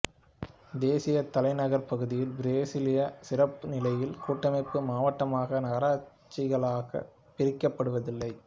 தேசிய தலைநகர் பகுதி பிரேசிலியா சிறப்பு நிலையில் கூட்டமைப்பு மாவட்டமாக நகராட்சிகளாக பிரிக்கப்படுவதில்லை